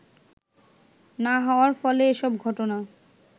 না হওয়ার ফলে এসব ঘটনা